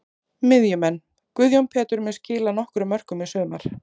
Miðjumenn: Guðjón Pétur mun skila nokkrum mörkum í sumar.